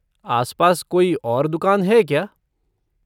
आसपास कोई और दुकान है क्या?